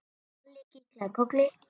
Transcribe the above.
Halli kinkaði kolli.